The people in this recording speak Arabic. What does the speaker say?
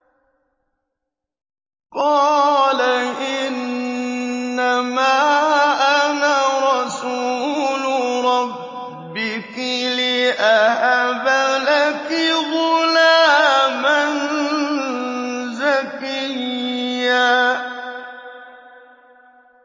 قَالَ إِنَّمَا أَنَا رَسُولُ رَبِّكِ لِأَهَبَ لَكِ غُلَامًا زَكِيًّا